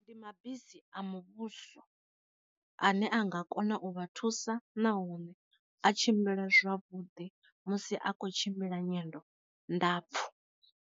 Ndi mabisi a muvhuso ane a nga kona u vha thusa nahone a tshimbila zwavhuḓi musi a khou tshimbila nyendo ndapfu.